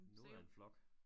Noget af en flok